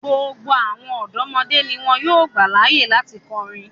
Gbogbo awọn ọdọmọde ni wọn yóò gba laaye lati kọrin